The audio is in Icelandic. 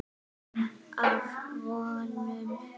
Af Von